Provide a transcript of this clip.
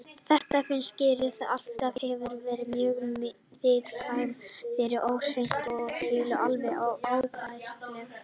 Þetta finnst Gerði, sem alltaf hefur verið mjög viðkvæm fyrir óhreinindum og fýlu, alveg óbærilegt.